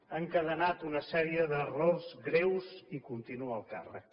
ha encadenat una sèrie d’errors greus i continua al càr·rec